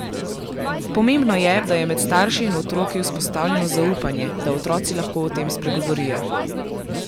Pomembno je, da je med starši in otroki vzpostavljeno zaupanje, da otroci lahko o tem spregovorijo.